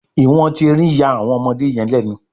iwọn ti erin ya awọn ọmọdé yen lénu